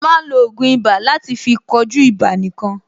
A máa ń lo ògùn ibà láti fí kojú ibà nìkan.